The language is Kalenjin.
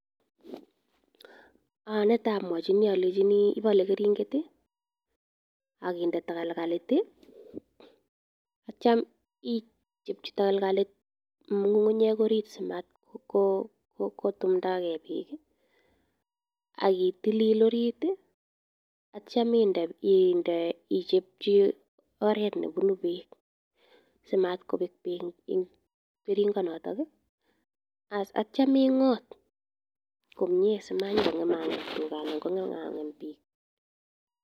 Netai amwachini alechini ipale keringet i, ak inde takalkalit i, atiam ichopchi takalkalot ng'ung'unyek oriit asimatkotumda gei peek i, ak itilil oriit i atiam ichopchi oret ne punu peek si matkopek peek eng' keringanotok i, atiam ing'ot komye si manyuko ng'em a ng'em tuga anan ko ng'em a ng'em piik.